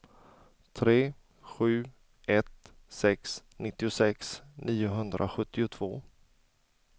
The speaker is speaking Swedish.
tre sju ett sex nittiosex niohundrasjuttiotvå